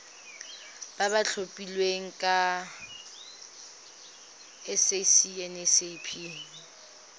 ba ba tlhophilweng ke sacnasp